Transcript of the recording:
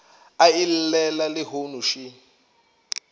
a e llela lehono še